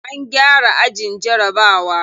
An gyara ajin jarabawa.